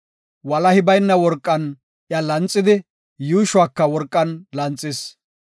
Walahi bayna worqan iya lanxidi, yuushuwaka worqan lanxis.